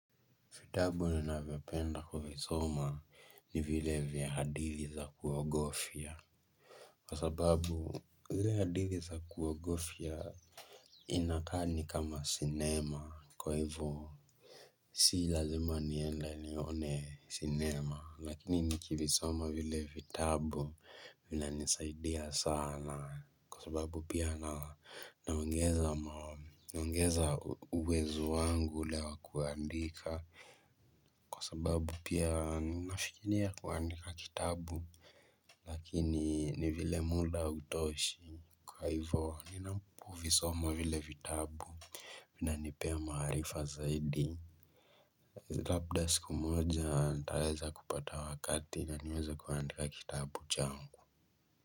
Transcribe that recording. Vitabu ninavyopenda kuvisoma ni vile vya hadithi za kuogofya. Kwa sababu zile hadithi za kuogofya inakaa ni kama sinema kwa hivyo si lazima niende nione sinema lakini nikivisoma vile vitabu vinanisaidia sana. Kwa sababu pia naongeza uwezo wangu ule wa kuandika. Kwa sababu pia ninafikiria kuandika kitabu. Lakini ni vile muda hutoshi. Kwa hivyo ni napo vi soma vile vitabu inanipea maarifa zaidi labda siku moja nitaweza kupata wakati na niweze kuandika kitabu changu.